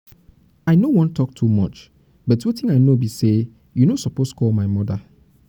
i no wan talk too much but wetin i know be say you no suppose call your mother.